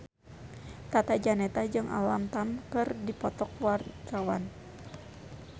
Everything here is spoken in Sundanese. Tata Janeta jeung Alam Tam keur dipoto ku wartawan